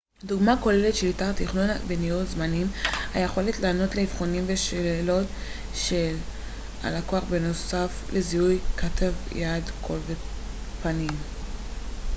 דוגמאות כוללות שליטה תכנון וניהול זמנים היכולת לענות לאבחונים ולשאלות של הלקוח בנוסף לזיהוי כתב יד קול ופנים